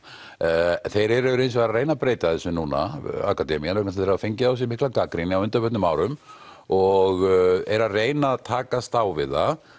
en þeir eru að reyna að breyta þessu núna akademían því þeir hafa fengið á sig mikla gagnrýni á undanförnum árum og eru að reyna að takast á við það